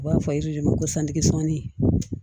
U b'a fɔ de ma ko santigɛ sɔnni